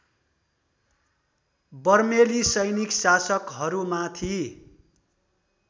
बर्मेली सैनिक शासकहरूमाथि